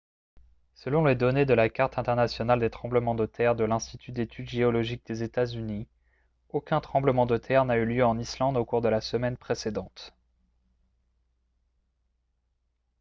selon les données de la carte internationale des tremblements de terre de l'institut d'études géologiques des états-unis aucun tremblement de terre n'a eu lieu en islande au cours de la semaine précédente